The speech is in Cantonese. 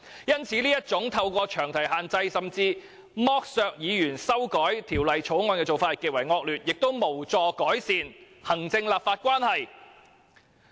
因此，這種透過詳題限制甚至剝削議員修改法案的做法極為惡劣，亦無助改善行政立法關係。